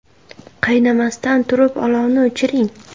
Qaynamasdan turib, olovni o‘chiring.